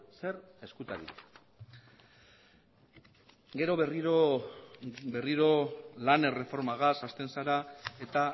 zer ezkutatu gero berriro lan erreformaz hasten zera eta